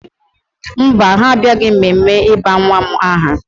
Mba, ha abịaghị mmemme ịba nwa m aha